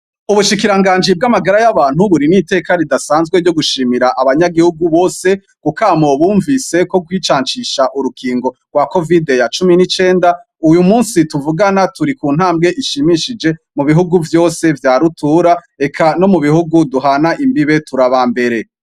Ubushikiranganji bw'amagara y'abantu, buri n'iteka ridasanzwe ryo gushimira abanyagihugu bose kukamo bumvise ko kwicancisha urukingo rwa covide ya cumi n'icenda, uyu munsi tuvugana turi ku ntambwe ishimishije mu bihugu vyose vya rutura, reka no mu bihugu duhana imbibe turi abambere.